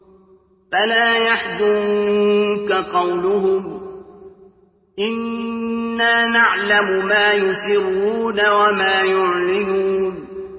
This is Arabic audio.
فَلَا يَحْزُنكَ قَوْلُهُمْ ۘ إِنَّا نَعْلَمُ مَا يُسِرُّونَ وَمَا يُعْلِنُونَ